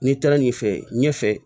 N'i taara ɲɛfɛ ɲɛfɛ